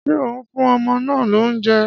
Ṣé ò ń fún ọmọ náà lóúnjẹ?